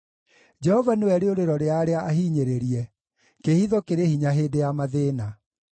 Jehova nĩwe rĩũrĩro rĩa arĩa ahinyĩrĩrie, kĩĩhitho kĩrĩ hinya hĩndĩ ya mathĩĩna.